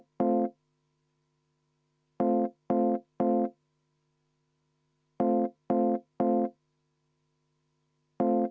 Henn Põlluaas on ilusti alla kirjutanud.